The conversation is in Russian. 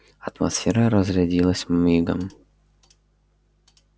атмосфера разрядилась мигом